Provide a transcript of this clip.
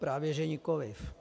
Právě že nikoliv.